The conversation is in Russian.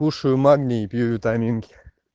кушаю магний и пью витаминки